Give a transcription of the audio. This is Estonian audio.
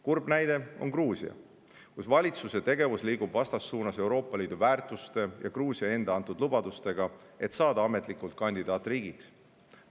Kurb näide on Gruusia, kus valitsuse tegevus liigub vastassuunas Euroopa Liidu väärtuste ja Gruusia enda antud lubadustega, et saada ametlikult kandidaatriigiks.